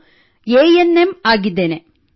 ನಾನು A N M ಆಗಿದ್ದೇನೆ